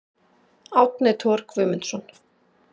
Árni Thor Guðmundsson